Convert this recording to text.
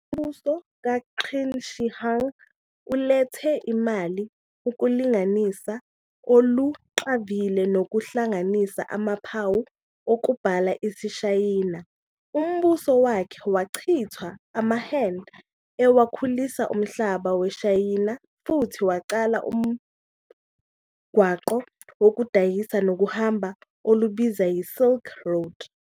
Umbuso kaQin Shi Huang ulethe imali, ukulinganisa oluqavile nokuhlanganisa amaphawu okubhala isiShayina. Umbuso wakhe wachithwa amaHan ewakhulisa umhlaba weShayina futhi waqala umgwaqo wokudayisa nokuhamba olubizwa yi-"Silk Road".